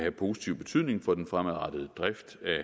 af positiv betydning for den fremadrettede drift af